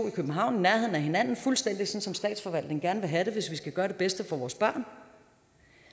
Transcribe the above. i københavn i nærheden af hinanden fuldstændig som statsforvaltningen gerne vil have det hvis vi skal gøre det bedste for vores børn